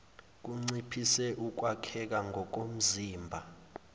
kunciphise ukwakheka ngokomzimba